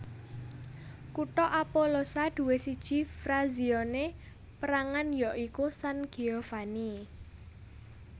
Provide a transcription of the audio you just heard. Kutha Apollosa duwé siji frazione pérangan ya iku San Giovanni